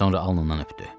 Sonra alnından öpdü.